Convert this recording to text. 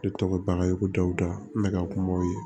Ne tɔgɔ bakari ko dawuda n bɛ ka kumaw ye